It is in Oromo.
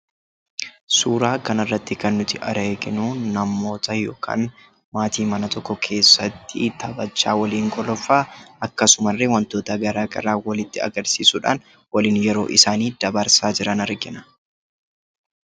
Suuraa kanarratti kan nuti arginu namoota yookaan maatii mana tokko keessatti taphachaa waliin kolfaa akkasumallee wantoota garaagaraa walitti agarsiisuudhaan waliin yeroosaanii dabarsaa jiran argina.